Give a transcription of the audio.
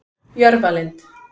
Jörfalind